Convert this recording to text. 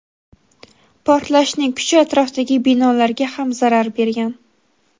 Portlashning kuchi atrofdagi binolarga ham zarar bergan.